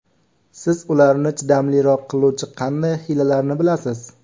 Siz ularni chidamliroq qiluvchi qanday hiylalarni bilasiz?